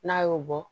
N'a y'o bɔ